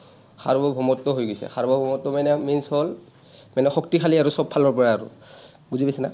সাৰ্বভৌমত্ব হৈ গৈছে, সাৰ্বভৌমত্ব মানে means হ’ল, মানে শক্তিশালী আৰু চবফালৰপৰা আৰু। বুজি পাইছানা?